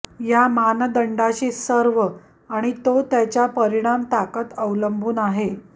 या मानदंडाशी सर्व आणि तो त्याच्या परिणाम ताकद अवलंबून आहे